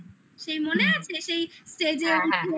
সেই মনে আছে সেই stage এ উঠে